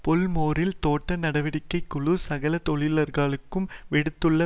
பொல்மோறில் தோட்ட நடவடிக்கை குழு சகல தொழிலாளர்களுக்கும் விடுத்துள்ள